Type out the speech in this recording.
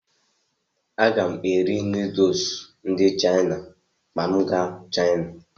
Aga m eri nuduls ndị Chaina ma m gaa Chaina.